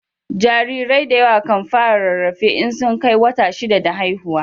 Jarirai da yawa kan fara rarrafe in sun Kai wata shida da haihuwa